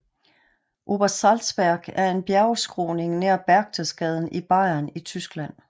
Obersalzberg er en bjergskråning nær Berchtesgaden i Bayern i Tyskland